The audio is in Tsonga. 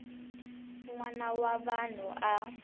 n wana wa vanhu a